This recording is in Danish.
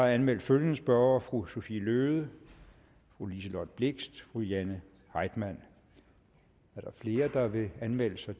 anmeldt følgende spørgere fru sophie løhde fru liselott blixt fru jane heitmann er der flere der vil anmelde sig